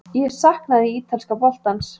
Ég saknaði ítalska boltans.